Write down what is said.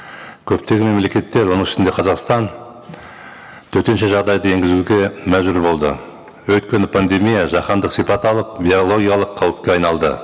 көптеген мемлекеттер оның ішінде қазақстан төтенше жағдайды енгізуге мәжбүр болды өйткені пандемия жаһандық сипат алып биологиялық қауіпке айналды